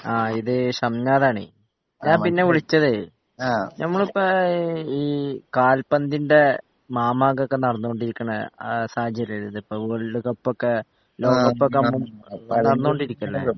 ആ ഇത് ഷംനാഥാണ് ഞാൻ പിന്നെ വിളിച്ചതേ നമ്മള്പ്പ ഈ കാൽപ്പന്തിൻ്റെ മാമാങ്കൊക്കെ നടന്നോണ്ടിരിക്കണെ ആ സാഹചര്യല്ലെത്പ്പോ വേൾഡ് കപ്പൊക്കെ ലോകക്കപ്പൊക്കെ നടന്നോണ്ടിരിക്കല്ലെ